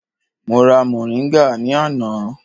Mo ra moringa ní àná.